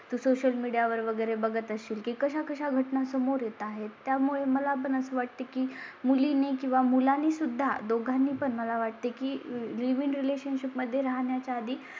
तू social मीडियावर वगैरे बघत असेल कशा कशा घटना समोर येत आहेत त्यामुळे मला पण अस वाटतं की मुलींनी किंवा मुलांनी सुद्धा दोघांनी पण मला वाटते की लिव इन रिलेशनशिप मध्ये राहण्या च्या आधी